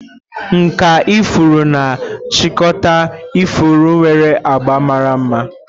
Nkà ifuru na-achịkọta ifuru nwere abga mara mma.